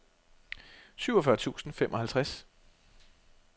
syvogfyrre tusind og femoghalvtreds